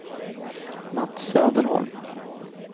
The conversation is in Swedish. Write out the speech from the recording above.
Mats Söderholm